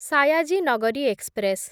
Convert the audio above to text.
Sayaji Nagari express